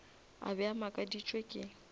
a be a makaditšwe ke